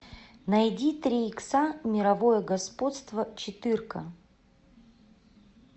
найди три икса мировое господство четырка